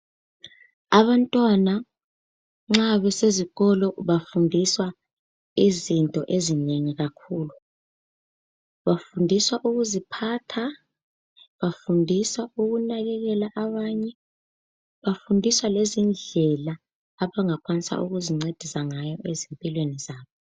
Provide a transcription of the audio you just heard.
Abantwana nxa besezikolo bafundiswa izinto ezinengi kakhulu bafundiswa ukuziphatha bafundiswa ukunakekela abanye bafundiswa lezindlela abangakwanisa ukuzincedisa ngazo empilweni zabo.